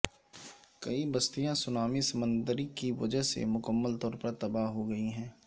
کئی بستیاں سونامی سمندری کی وجہ سے مکمل طور پر تباہ ہو گئی ہیں